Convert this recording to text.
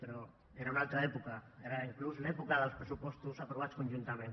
però era una altra època era inclús l’època dels pressupostos aprovats conjuntament